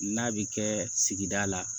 N'a bi kɛ sigida la